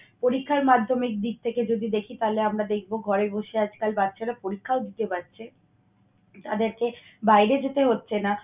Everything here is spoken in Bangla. পরীক্ষার মাধ্যমিক দিক থেকে যদি দেখি তাহলে আমরা দেখব ঘরে বসে আজকাল বাচ্চারা পরীক্ষাও দিতে পারছে, যাদেরকে বাইরে যেতে হচ্ছে না।